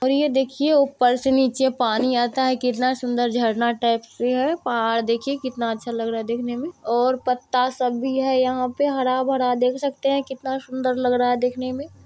और ये देखिये ऊपर से नीचे पानी आता है| कितना सुन्दर झरना टाइप ये है पहाड़ देखिये कितना अच्छा लग रहा देखने में| और पत्ता सब भी है यहाँ पे हरा-भरा देख सकते हैं कितना सुन्दर लग रहा है देखने में।